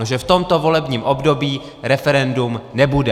No že v tomto volebním období referendum nebude.